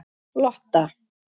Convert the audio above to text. Lotta